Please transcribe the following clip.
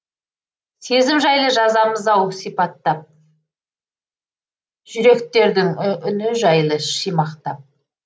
сезім жайлы жазамыз ау сипатап жүректердің үні жайлы шимақтап